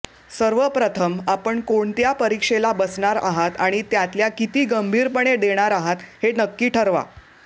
सर्वप्रथम आपण कोणत्या परीक्षेला बसणार आहात आणि त्यातल्या किती गंभीरपणे देणार आहात हे नक्की ठरवा